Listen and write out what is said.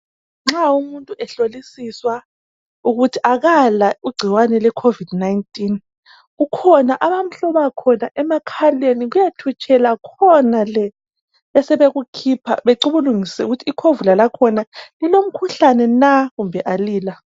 Nxa umuntu ehlolisiswa ukuthi akala igcikwane lecovid 19, kukhona abamhloma khona emakhaleni kuyethutshela khonale. Besebekukhipha becubungulisise ukuthi ikhovula lakhona lilomkhuhlane na kumbe alila.